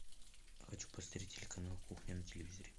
хочу посмотреть телеканал кухня на телевизоре